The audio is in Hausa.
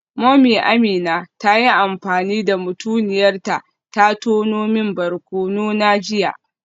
Mummy Amina ta yi amfani da mutuniyar ta ta tono min barkono na jiya